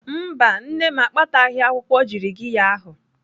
Mba, nne m akpataghị akwụkwọ jirigiya ahụ.